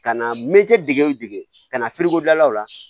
Ka na mɛtiri dege o dege ka na la